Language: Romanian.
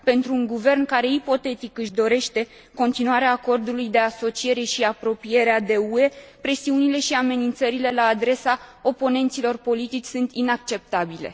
Pentru un guvern care ipotetic își dorește continuarea Acordului de asociere și apropierea de UE, presiunile și amenințările la adresa oponenților politici sunt inacceptabile.